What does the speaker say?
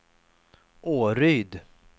Åryd